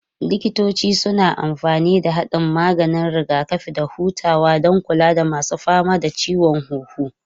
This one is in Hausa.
Likitoci suna amfani da haɗin maganin rigakafi da hutawa don kula da masu fama da ciwon huhu.